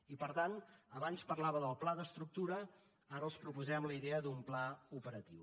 i per tant abans parlava del pla d’estructura ara els proposem la idea d’un pla operatiu